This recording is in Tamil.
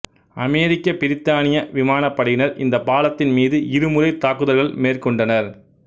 அமெரிக்க பிரித்தானிய விமானப்படையினர் இந்தப் பாலத்தின் மீது இரு முறை தாக்குதல்கள் மேற்கொண்டனர்